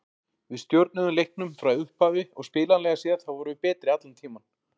Við stjórnuðum leiknum frá upphafi og spilanlega séð þá vorum við betri allan tímann.